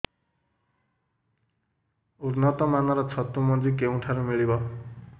ଉନ୍ନତ ମାନର ଛତୁ ମଞ୍ଜି କେଉଁ ଠାରୁ ମିଳିବ